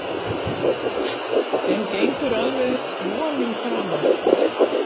En gengur alveg vonum framar.